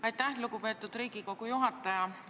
Aitäh, lugupeetud Riigikogu juhataja!